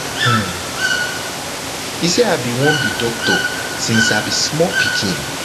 um e say i bin wan be doctor since i be small pikin